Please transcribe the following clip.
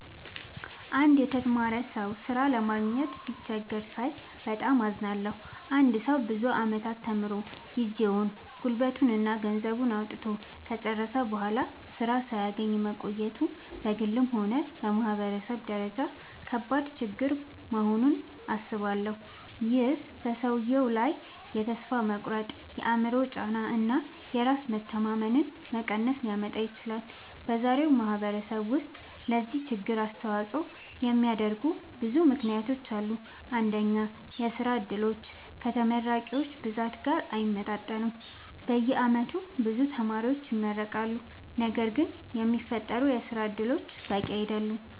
አንድ የተማረ ሰው ሥራ ለማግኘት ሲቸገር ሳይ በጣም አዝናለሁ። አንድ ሰው ብዙ ዓመታት ተምሮ፣ ጊዜውን፣ ጉልበቱን እና ገንዘቡን አውጥቶ ከጨረሰ በኋላ ሥራ ሳያገኝ መቆየቱ በግልም ሆነ በማህበረሰብ ደረጃ ከባድ ችግር መሆኑን አስባለሁ። ይህ በሰውየው ላይ ተስፋ መቁረጥ፣ የአእምሮ ጫና እና የራስ መተማመን መቀነስ ሊያመጣ ይችላል። በዛሬው ማህበረሰብ ውስጥ ለዚህ ችግር አስተዋጽኦ የሚያደርጉ ብዙ ምክንያቶች አሉ። አንደኛ፣ የሥራ ዕድሎች ከተመራቂዎች ብዛት ጋር አይመጣጠኑም። በየዓመቱ ብዙ ተማሪዎች ይመረቃሉ፣ ነገር ግን የሚፈጠሩ የሥራ እድሎች በቂ አይደሉም።